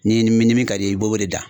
Ni ni min ni min ka d'i ye i b'o de dan.